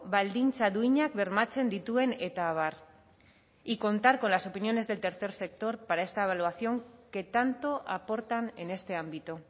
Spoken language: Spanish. baldintza duinak bermatzen dituen eta abar y contar con las opiniones del tercer sector para esta evaluación que tanto aportan en este ámbito